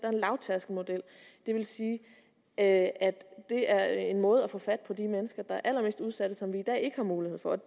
lavtærskelmodel det vil sige at det er en måde at få fat på de mennesker som er allermest udsatte og som vi i dag ikke har mulighed for at